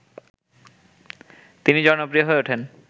তিনি জনপ্রিয় হয়ে উঠেন